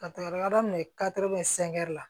Ka taga yɔrɔ minɛ la